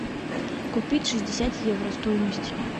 купить шестьдесят евро стоимость